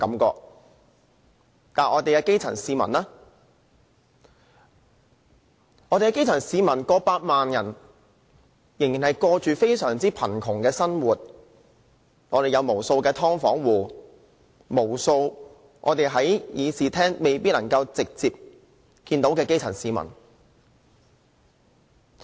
但是，我們有過百萬基層市民卻仍然過着非常貧窮的生活，我們有無數"劏房戶"，無數在議事廳未必能直接接觸得到的基層市民。